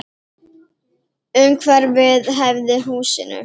Umhverfið hæfði húsinu.